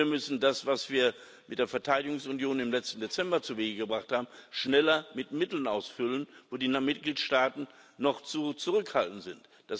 Und wir müssen das, was wir mit der Verteidigungsunion im letzten Dezember zuwege gebracht haben, schneller mit Mitteln ausfüllen, wo die Mitgliedstaaten noch zu zurückhaltend sind.